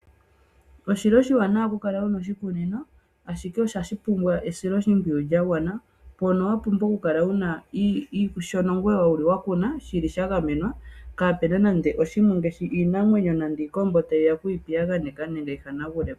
Oshili oshiwanawa okukala wuna oshikunino, ashike ohashi pumbwa esiloshimpwiyu lya gwana, mpono wapumbwa okukala wagamena shoka wakuna, kaapena nande iinamwenyo ngaashi iikombo tayiya oku piyaganeka, nenge okuhanagulapo.